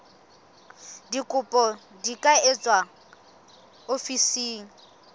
dikopo di ka etswa ofising